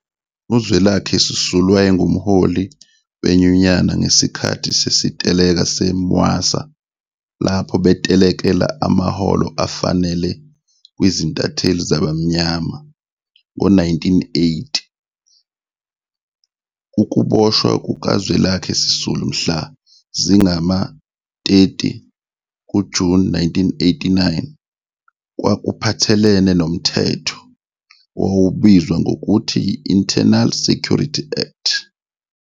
UZwelakhe Sisulu wayengumholi wenyunyana ngesikhathi sesiteleka se-Mwasa lapho betelekela amaholo afanele kwizintatheli zabamnyama ngo-1980. Ukuboshwa kukaZwelakhe Sisulu mhla zingama-30 kuJuni 1981 kwakuphathelene noMthetho owawubizwa ngokuthi yi-Internal Sercurity Act.